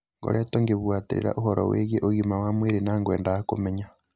Ngoretwo ngĩbuatĩrĩra ũhoro wĩgie ũgima wa mwĩrĩ na ngwendaga kũmenya